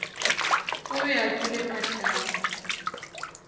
o be a kwele mahlapa